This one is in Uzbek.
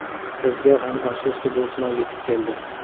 Bizga ham, afsuski, bu sinov yetib keldi.